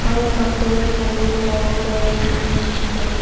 ಸ್ವಲ್ಪ ದೂರದಲ್ಲಿ ಗಿಡವು ಬೆಳೆದು ನಿಂತಿದೆ.